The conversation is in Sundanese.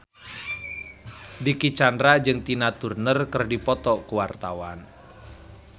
Dicky Chandra jeung Tina Turner keur dipoto ku wartawan